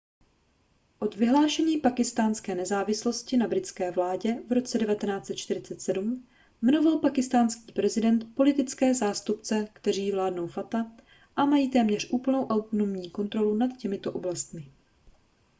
od vyhlášení pákistánské nezávislosti na britské vládě v roce 1947 jmenoval pákistánský prezident politické zástupce kteří vládnou fata a mají téměř úplnou autonomní kontrolu nad těmito oblastmi